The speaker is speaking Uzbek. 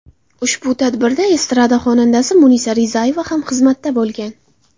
Ushbu tadbirda estrada xonandasi Munisa Rizayeva ham xizmatda bo‘lgan.